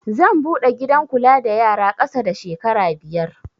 Zan buɗe gidan kula da yara ƙasa da shekara biyar